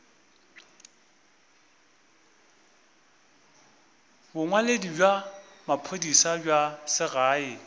bongwaledi bja maphodisa bja segae